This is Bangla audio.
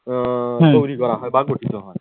উম তৈরি করা হয় বা গঠিত হয়।